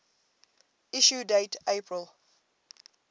issue date april